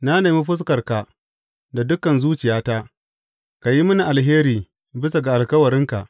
Na nemi fuskarka da dukan zuciyata; ka yi mini alheri bisa ga alkawarinka.